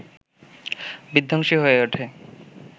বিধ্বংসী হয়ে ওঠে